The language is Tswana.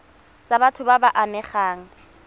tsa batho ba ba amegang